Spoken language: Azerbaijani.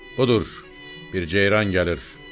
Budur, bir ceyran gəlir.